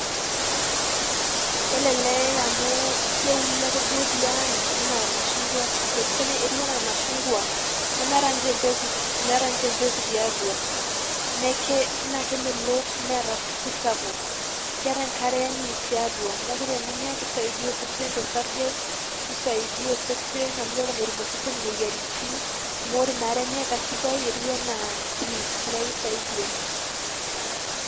Kelelek amu keuni ake duo tiang',enaa irmashungwa etiu enaa urmashungwa. Nemeeta nche empeku meeta nche empeku tiatua. Naa kemelok neeta supu sapuk. Keeta enkare yani tiatua. Neeku teninya, kisaidia osesen tosarge, nisaidia osesen amu keeku metum osesen imoyiaritin, amu ore inaarenye kadidai, etiu enaa juice ,neeku kisaidia.